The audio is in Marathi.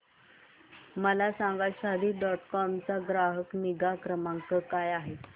मला सांगा शादी डॉट कॉम चा ग्राहक निगा क्रमांक काय आहे